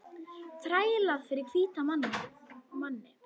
Þrælað fyrir hvíta manninn.